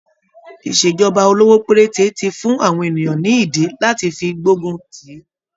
Ìṣèjọba olówó péréte ti fún àwọn ènìyàn ní ìdí lati fi gbógun tíì.